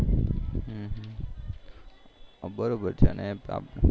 બરોબર છે અને